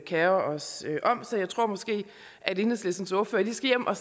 kerer os om så jeg tror måske at enhedslistens ordfører lige skal hjem og